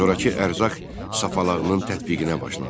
Zorakı ərzaq sapalağının tətbiqinə başlandı.